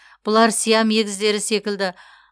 бұлар сиам егіздері секілді